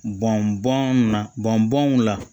Bɔn bɔn na bɔnbɔnw la